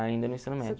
Ainda no ensino médio.